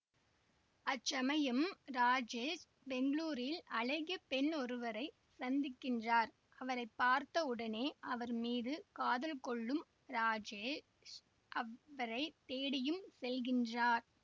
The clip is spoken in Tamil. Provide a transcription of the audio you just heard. அச்சமயம் ராஜேஷ் பெங்களூரில் அழகிய பெண்ணொருவரைச் சந்திக்கின்றார் அவரை பார்த்த உடனே அவர் மீது காதல் கொள்ளும் ராஜேஷ் அவரை தேடியும் செல்கின்றார்